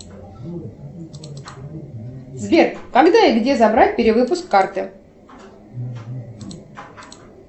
сбер когда и где забрать перевыпуск карты